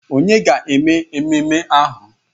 Ònye ga-eme ememe ahụ?